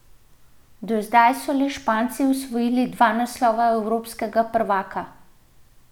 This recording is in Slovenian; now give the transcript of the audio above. Do zdaj so le Španci osvojili dva naslova evropskega prvaka.